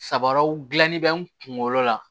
Sabaraw gilanni bɛ n kunkolo la